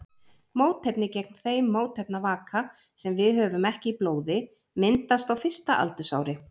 Mótefni gegn þeim mótefnavaka sem við höfum ekki í blóði myndast á fyrsta aldursári.